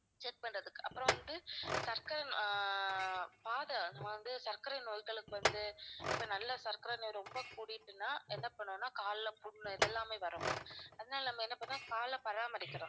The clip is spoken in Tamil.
check பண்றதுக்கு அப்புறம் வந்து சர்க்கரை~ ஆஹ் பாத அது வந்து சர்க்கரை நோய்களுக்கு வந்து இப்ப நல்ல சர்க்கரை நோய் ரொம்ப கூடிடுச்சுனா என்ன பண்ணனும்னா கால்ல புண் இதெல்லாமே வரும் ma'am அதனால நம்ம என்ன பண்ணனும்னா கால பராமரிக்கணும்